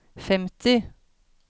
femti